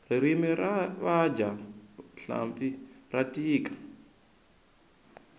ririmi ra vadya hlampfi ra tika